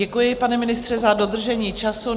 Děkuji, pane ministře, za dodržení času.